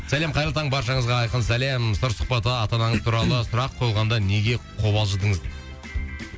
сәлем қайырлы таң баршаңызға айқын сәлем сыр сұхбатта ата анаңыз туралы сұрақ қойғанда неге қобалжыдыңыз дейді